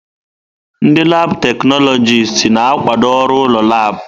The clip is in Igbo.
Ndị laabụ̀ teknọlọjịst na-akwado ọrụ ụlọ laabụ̀.